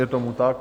Je tomu tak?